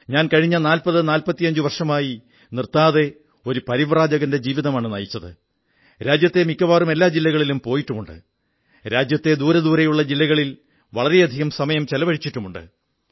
ഞാൻ കഴിഞ്ഞ 4045 വർഷമായി നിർത്താതെ ഒരു പരിവ്രാജകന്റെ ജീവിതമാണു നയിച്ചത് രാജ്യത്തെ മിക്കവാറും എല്ലാ ജില്ലകളിലും പോയിട്ടുമുണ്ട് രാജ്യത്തെ ദൂരെ ദൂരെയുള്ള ജില്ലകളിൽ വളരെ സമയം ചിലവഴിച്ചിട്ടുമുണ്ട്